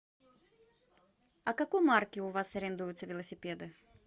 а какой марки у вас арендуются велосипеды